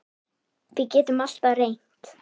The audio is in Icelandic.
Við getum alltaf reynt.